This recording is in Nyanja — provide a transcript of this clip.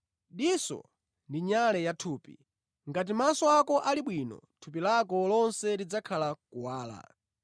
“Diso ndi nyale ya thupi. Ngati maso ako ali bwino, thupi lako lonse lidzakhala mʼkuwala.